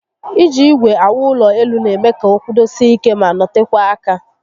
Iji igwe awu ulo elu n'eme ka o kwudosie ike ma notekwaa aka